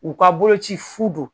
U k'a bolo ci fu don.